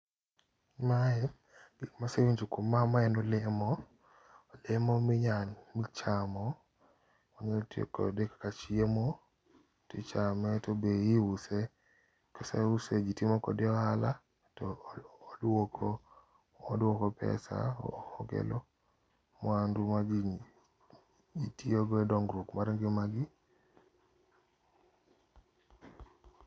Mae ,masewinjo kuom ma, mae en olemo olemo minyal chamo ,inyalo tiyo kode kaka chiemo tichame tobe iuse. Koseuse jii timo kode ohala toduoko pesa, okelo mwandu ma jii tiyo go e dongruok mar ngimagi